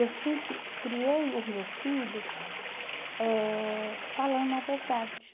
Eu sempre criei o meu filho eh falando a verdade.